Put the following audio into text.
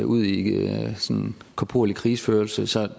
ud i korporlig krigsførelse så